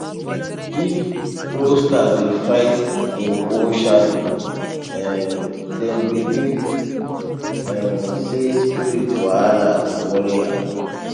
if rooster dey fight im own shadow um dem believe um say spiritual wahala dey worry am